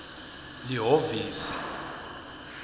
lihhovisi